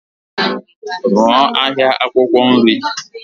Rụọ ahịa akwụkwọ nri.